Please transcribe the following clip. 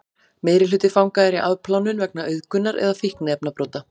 meirihluti fanga er í afplánun vegna auðgunar eða fíkniefnabrota